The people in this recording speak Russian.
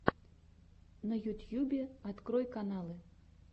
на ютьюбе открой каналы